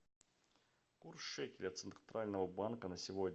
курс шекеля центрального банка на сегодня